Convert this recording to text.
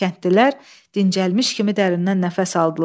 Kəndlilər dincləmiş kimi dərindən nəfəs aldılar.